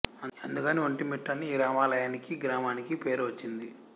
అందుకని ఒంటిమిట్ట అని ఈ రామాలయానికి గ్రామానికి పేరు వచ్చింది